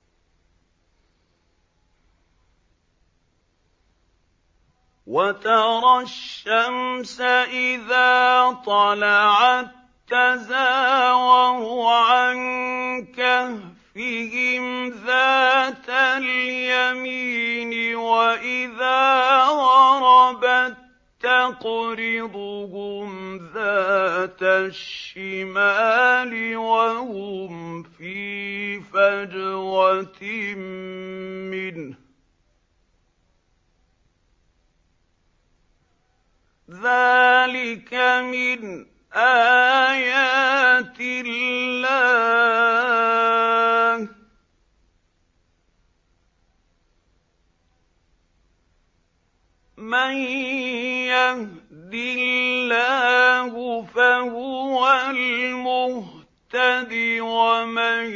۞ وَتَرَى الشَّمْسَ إِذَا طَلَعَت تَّزَاوَرُ عَن كَهْفِهِمْ ذَاتَ الْيَمِينِ وَإِذَا غَرَبَت تَّقْرِضُهُمْ ذَاتَ الشِّمَالِ وَهُمْ فِي فَجْوَةٍ مِّنْهُ ۚ ذَٰلِكَ مِنْ آيَاتِ اللَّهِ ۗ مَن يَهْدِ اللَّهُ فَهُوَ الْمُهْتَدِ ۖ وَمَن